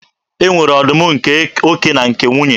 E nwere ọdụm nke oke na nke nwunye.